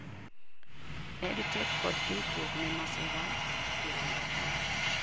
EdTech kod ikruok ne masira , kirango Kenya